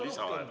Võib ka rohkem.